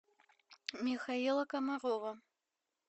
михаила комарова